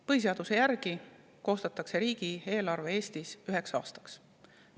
Põhiseaduse järgi koostatakse riigieelarve Eestis üheks aastaks.